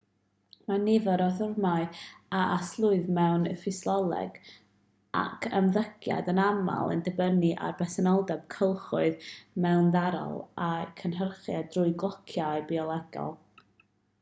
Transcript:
mae nifer o rythmau a arsylwyd mewn ffisioleg ac ymddygiad yn aml yn dibynnu ar bresenoldeb cylchoedd mewndarddol a'u cynhyrchiad trwy glociau biolegol